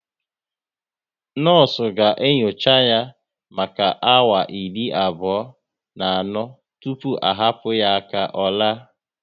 Nọọsụ ga enyocha ya maka awa iri abụọ na anọ tụpụ a hapụ ya ka ọ la